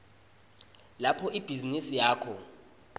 lapho ibhizinisi yakho